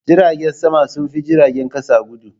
Jiragen sama sun fi jiragen kasa guɗu.